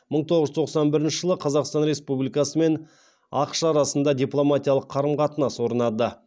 мың тоғыз жүз тоқсан бірінші жылы қазақстан республикасы мен ақш арасында дипломатиялық қарым қатынас орнады